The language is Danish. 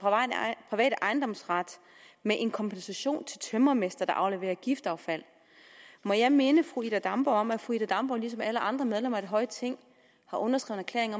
private ejendomsret med en kompensation til tømrermestre der afleverer giftaffald må jeg minde fru ida damborg om at fru ida damborg ligesom alle andre medlemmer af det høje ting har underskrevet en